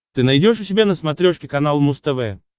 ты найдешь у себя на смотрешке канал муз тв